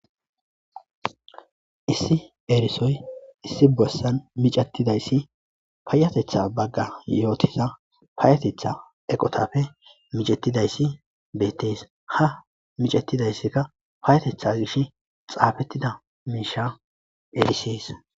Issi erisoy issi bossan micattidayssi payatetha bagga yootisa payetetha eqotafe micettidayssi beettes ha micatidayssikka payatetha gish xaafettida miisha erisees.